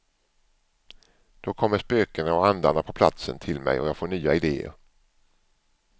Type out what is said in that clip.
Då kommer spökena och andarna på platsen till mig och jag får nya ideer.